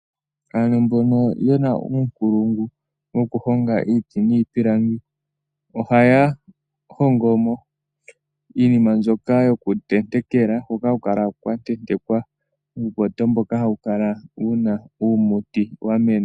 Aantu mbono yena uunkulungu wokuhonga iiti niipilangi, ohaya hongomo iinima mbyoka yokuntetekela hoka haku kala kwatentekwa uupoto mboka hawu kala wuna uumuti wamena.